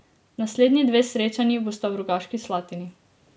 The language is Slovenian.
Naslednji dve srečanji bosta v Rogaški Slatini.